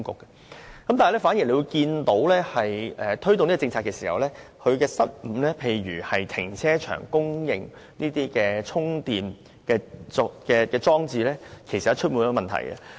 然而，大家反而會看見推動這項政策時的失誤，例如在停車場供應充電裝置方面，事實上充滿問題。